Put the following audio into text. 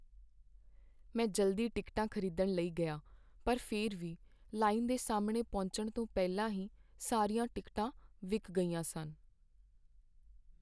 ਮੈਂ ਜਲਦੀ ਟਿਕਟਾਂ ਖ਼ਰੀਦਣ ਲਈ ਗਿਆ ਪਰ ਫਿਰ ਵੀ ਲਾਈਨ ਦੇ ਸਾਹਮਣੇ ਪਹੁੰਚਣ ਤੋਂ ਪਹਿਲਾਂ ਹੀ ਸਾਰੀਆਂ ਟਿਕਟਾਂ ਵਿਕ ਗਈਆਂ ਸਨ।